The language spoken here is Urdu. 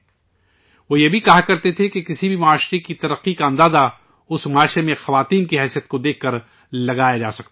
وہ یہ بھی کہا کرتے تھے کہ کسی بھی معاشرے کی ترقی کا اندازہ اس معاشرے میں خواتین کی حیثیت کو دیکھ کر لگایا جا سکتا ہے